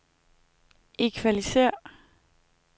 equalizer